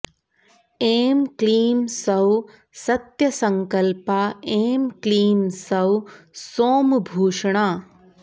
ऐं क्लीं सौः सत्यसङ्कल्पा ऐं क्लीं सौः सोमभूषणा